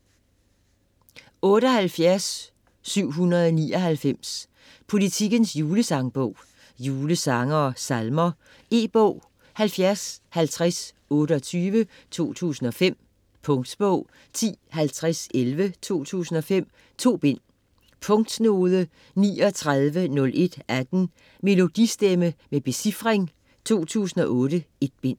78.799 Politikens julesangbog Julesange og -salmer. E-bog 705028 2005. Punktbog 105011 2005.2 bind. Punktnode 390118. Melodistemme med becifring 2008.1 bind.